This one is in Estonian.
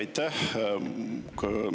Aitäh!